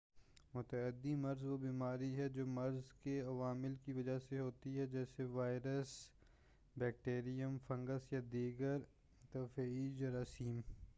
متعدی مرض وہ بیماری ہے جو مرض کے عوامل کی وجہ سے ہوتی ہے جیسے وائرس بیکٹیریم فنگس یا دیگر طفیلی جراثیم